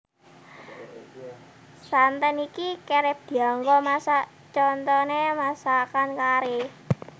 Santen iki kerep dianggo masak contoné masakan kari